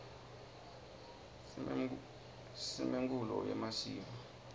simemkulo yemasiko